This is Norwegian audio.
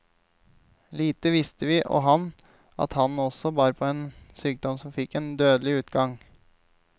Lite visste vi, og han, at han også bar på en sykdom som fikk en dødelig utgang.